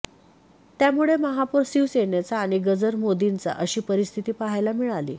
त्यामुळे महापौर शिवसेनेचा आणि गजर मोदींचा अशी परिस्थिती पहायला मिळाली